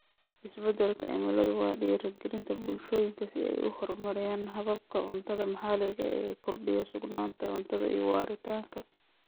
Isbeddelka cimiladu waa dhiirigelinta bulshooyinka si ay u horumariyaan hababka cuntada maxaliga ah ee kordhiya sugnaanta cuntada iyo waaritaanka.